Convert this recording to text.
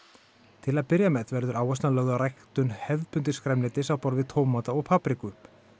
til að byrja með verður áherslan lögð á ræktun hefðbundins grænmetis á borð við tómata og papriku